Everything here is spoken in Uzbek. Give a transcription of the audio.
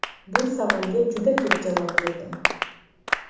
Bu savolga juda ko‘p javob berdim”.